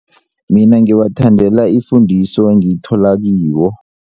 Mina ngiwathandela ifundiso engiyithola kiwo.